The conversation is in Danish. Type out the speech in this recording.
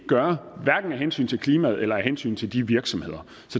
gøre af hensyn til klimaet eller af hensyn til de virksomheder